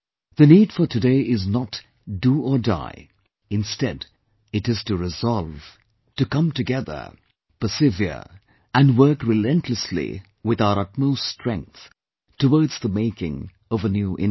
The need for today is not 'Do or Die', instead it is to resolve, to come together, persevere, and work relentlessly with our utmost strength towards the making of a new India